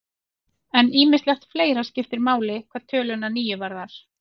En ýmislegt fleira skiptir máli hvað töluna níu varðar.